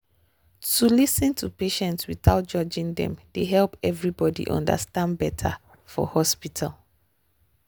to lis ten to patients without judging dem dey help everybody understand better for hospital.